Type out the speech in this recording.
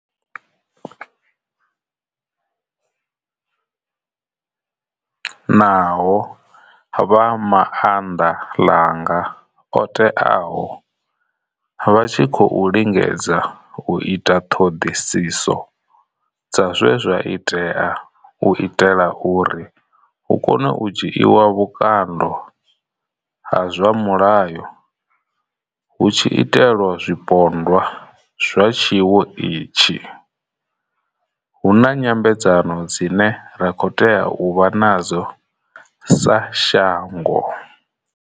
Naho vha maanḓa ḽanga o teaho vha tshi khou lingedza u ita ṱhoḓisiso dza zwe zwa itea u itela uri hu kone u dzhiiwa vhukando ha zwa mulayo hu tshi itelwa zwi pondwa zwa tshiwo itshi, hu na nyambedzano dzine ra khou tea u vha nadzo sa shango.